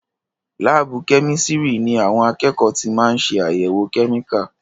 Láàbù kẹ́mísirì ní àwọn akẹ́kọ̀ọ́ tí máa ń ṣé àyèwò kẹ́míkà.